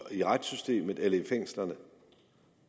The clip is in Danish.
i retssystemet eller i fængslerne